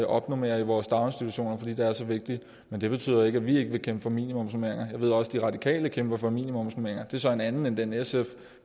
opnormering i vores daginstitutioner fordi det er så vigtigt men det betyder ikke at vi ikke vil kæmpe for minimumsnormeringer jeg ved også at radikale kæmper for minimumsnormeringer og det er så en anden end den sf